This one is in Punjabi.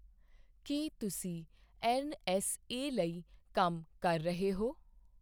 ਕੀ ਤੁਸੀਂ ਐੱਨ.ਐੱਸ.ਏ. ਲਈ ਕੰਮ ਕਰ ਰਹੇ ਹੋ?